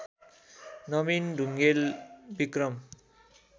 Nabin Dhungel Vikram